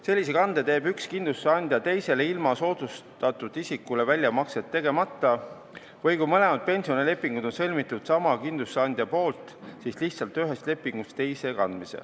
Sellise kande teeb üks kindlustusandja teisele ilma soodustatud isikule väljamakset tegemata või kui mõlemad pensionilepingud on sõlmitud sama kindlustusandja poolt, siis kantakse raha lihtsalt ühest lepingust teise.